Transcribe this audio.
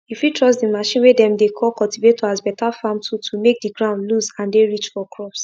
you fit trust the machine way dem dey call cultivator as beta farm tool to make the ground loose and dey rich for crops